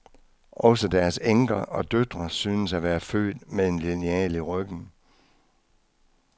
Også deres enker og døtre synes at være født med en lineal i ryggen.